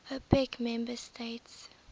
opec member states